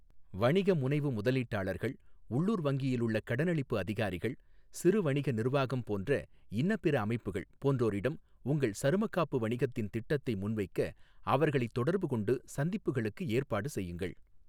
வணிகமுனைவு முதலீட்டாளர்கள், உள்ளூர் வங்கியிலுள்ள கடனளிப்பு அதிகாரிகள், சிறு வணிக நிர்வாகம் போன்ற இன்னபிற அமைப்புகள் போன்றோரிடம் உங்கள் சருமக் காப்பு வணிகத்தின் திட்டத்தை முன்வைக்க அவர்களைத் தொடர்புகொண்டு சந்திப்புகளுக்கு ஏற்பாடு செய்யுங்கள்.